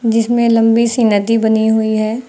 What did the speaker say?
जिसमें लंबी सी नदी बनी हुई है।